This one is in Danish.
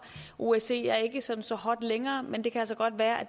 osce er ikke så så hot længere men det kan altså godt være at